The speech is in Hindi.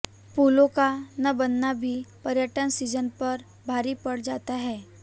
पुलों का न बनना भी पर्यटन सीजन पर भारी पड़ जाता है